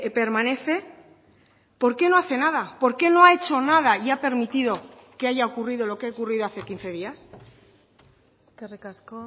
permanece por qué no hace nada por qué no ha hecho nada y ha permitido que haya ocurrido lo que ha ocurrido hace quince días eskerrik asko